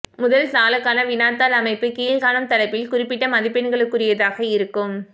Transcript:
முதல் தாளுக்கான வினாத்தாள் அமைப்பு கீழ்காணும் தலைப்பில் குறிப்பிட்ட மதிப்பெண்களுக்குரியதாக இருக்கும்